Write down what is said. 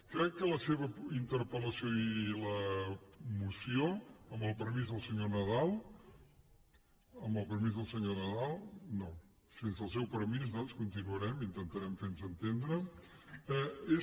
crec que la seva interpel·lació i la moció amb el permís del senyor nadal amb el permís del senyor nadal no sense el seu permís doncs continuarem intentarem fer nos entendre és